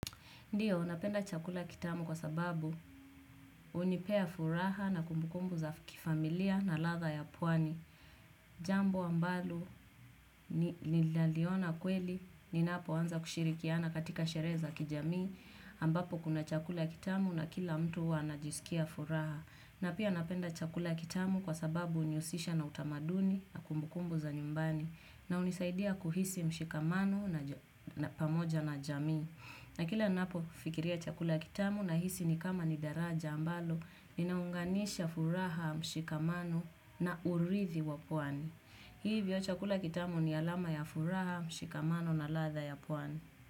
Ndiyo, napenda chakula kitamu kwa sababu unipea furaha na kumbukumbu za kifamilia na ladha ya pwani. Jambo ambalo ni laliona kweli ni napo anza kushirikiana katika sherehe za kijamii. Ambapo kuna chakula kitamu na kila mtu huwa ana jisikia furaha. Na pia napenda chakula kitamu kwa sababu uniusisha na utamaduni na kumbukumbu za nyumbani. Na unisaidia kuhisi mshikamano na pamoja na jamii. Na kila napo fikiria chakula kitamu na hisi ni kama ni daraja ambalo, ninaunganisha furaha mshikamano na uridhi wa pwani. Hivyo chakula kitamu ni alama ya furaha mshikamano na ladha ya pwani.